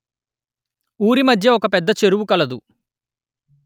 ఊరి మధ్య ఒక పెద్ద చెరువు కలదు